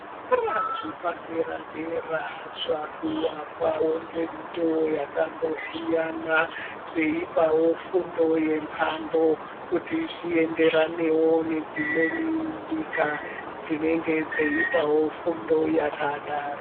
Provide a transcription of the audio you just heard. Zvikora zvepadera-dera zvaakuakwawo ngemitoo yakasiyana zveipawo fundo yemhando kuti zvienderane nedzimweni nyika dzinenge dzeipawo fundo yakadaro.